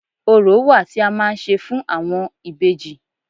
Orò wà tí a máa ń ṣe fún àwọn ìbejì